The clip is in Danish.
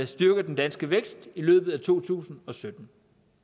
styrker den danske vækst i løbet af to tusind og sytten